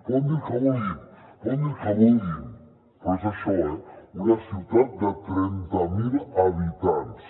poden dir el que vulguin poden dir el que vulguin però és això eh una ciutat de trenta mil habitants